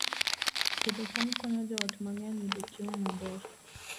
Pidho cham konyo joot mang'eny yudo chiemo maber